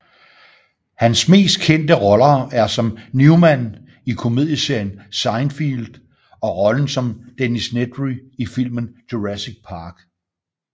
Hans mest kendte roller er som Newman i komedieserien Seinfeld og rollen som Dennis Nedry i filmen Jurassic Park